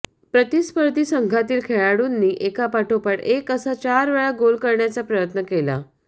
प्रतिस्पर्धा संघातील खेळाडूंनी एका पाठोपाठ एक असा चार वेळा गोल करण्याचा प्रयत्न केला